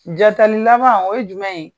Jatali laban o ye jumɛn ye?